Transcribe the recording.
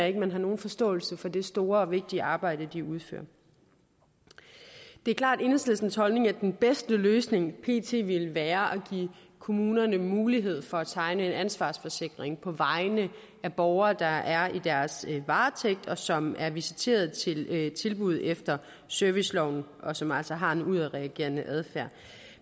ikke at man har nogen forståelse for det store og vigtige arbejde de udfører det er klart enhedslistens holdning at den bedste løsning pt ville være at give kommunerne mulighed for at tegne en ansvarsforsikring på vegne af borgere der er i deres varetægt og som er visiteret til tilbud efter serviceloven og som altså har en udadreagerende adfærd